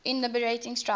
in liberating strife